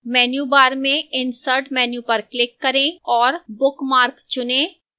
menu bar में insert menu पर click करें और bookmark चुनें